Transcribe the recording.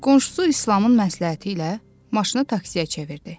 Qonşusu İslamın məsləhəti ilə maşını taksiyə çevirdi.